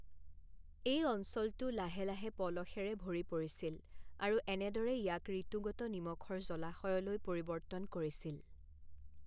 এই অঞ্চলটো লাহে লাহে পলসেৰে ভৰি পৰিছিল আৰু এনেদৰে ইয়াক ঋতুগত নিমখৰ জলাশয়লৈ পৰিৱৰ্তন কৰিছিল।